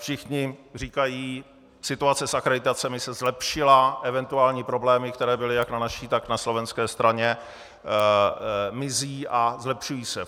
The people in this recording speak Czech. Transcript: Všichni říkají: situace s akreditacemi se zlepšila, eventuální problémy, které byly jak na naší, tak na slovenské straně, mizí a zlepšují se.